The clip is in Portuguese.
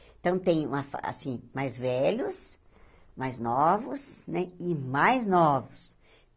Então, tem uma fa ah assim mais velhos, mais novos né e mais novos.